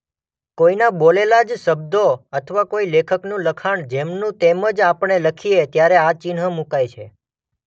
કોઈના બોલેલા જ શબ્દો અથવા કોઈ લેખકનું લખાણ જેમનું તેમજ આપણે લખીએ ત્યારે આ ચિહ્ન મુકાય છે.